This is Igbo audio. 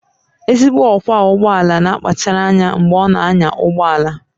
Ezigbo ọkwọ ụgbọ ala na-akpachara anya mgbe ọ na-anya ụgbọ ala